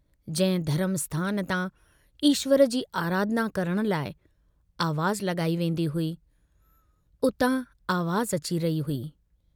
जंहिं धर्म स्थान तां ईश्वर जी आराधना करण लाइ आवाज़ु लगाई वेन्दी हुई, उतां आवाज़ अची रही हुई।